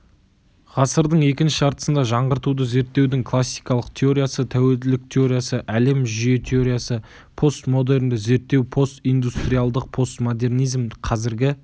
ғасырдың екінші жартысында жаңғыртуды зерттеудің классикалық теориясы тәуелділік теориясы әлем жүйе теориясы постмодернді зерттеу постиндустриалдық постмодернизм қазіргі